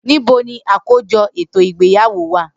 Nibo ni akojọ eto igbeyawo wa?